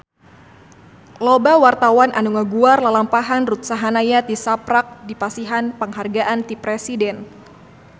Loba wartawan anu ngaguar lalampahan Ruth Sahanaya tisaprak dipasihan panghargaan ti Presiden